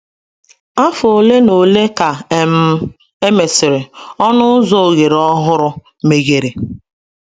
Afọ ole na ole ka um e mesịrị, ọnụ ụzọ ohere ọhụrụ meghere.